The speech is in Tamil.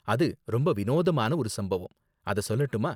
அது ரொம்ப வினோதமான ஒரு சம்பவம், அத சொல்லட்டுமா?